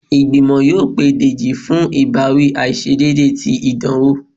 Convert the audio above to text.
igbimọ yóò pe dejí fún ibawi aiṣedeede tí idanwo